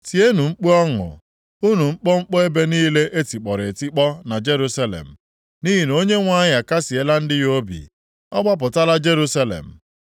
Tienụ mkpu ọṅụ unu mkpọmkpọ ebe niile e tikpọrọ etikpọ na Jerusalem, nʼihi na Onyenwe anyị akasịela ndị ya obi. Ọ gbapụtala Jerusalem.